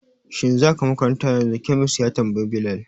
Shin za ka makaranta yanzu? Khamis ya tambayi Bilal